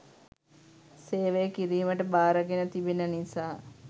සේවය කිරීමට බාරගෙන තිබෙන නිසා.